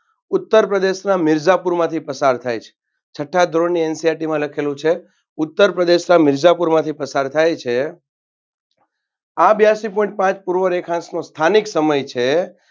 ઉત્તરપ્રદેશના મીરજાપુરમાંથી પસાર થાય છે. છટ્ઠા ધોરણન NCERT માં લખેલું છે ઉત્તરપ્રદેશના મીરજાપુરમાંથી પસાર થાય છ આ બિયાસી Point પાંચ પૂર્વ રેખાંશનો સ્થાનિક સમય છે.